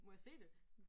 Må jeg se det?